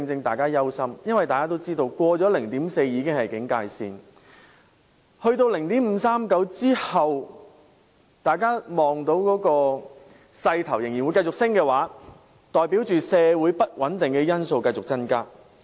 大家如看到有關數字在達到 0.539 後仍有繼續上升的勢頭，代表社會不穩定的因素會繼續增加。